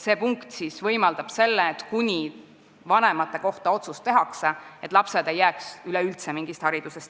See punkt võimaldab seda, et lapsed ei jää üleüldse haridusest ilma, kuni vanemate kohta otsus tehakse.